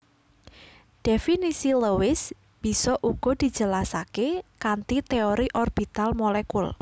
Dhéfinisi Lewis bisa uga dijelasaké kanthi téori orbital molekul